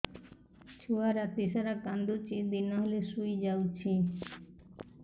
ଛୁଆ ରାତି ସାରା କାନ୍ଦୁଚି ଦିନ ହେଲେ ଶୁଇଯାଉଛି